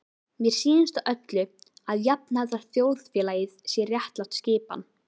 Og mér sýnist á öllu, að jafnaðarþjóðfélagið sé réttlát skipan.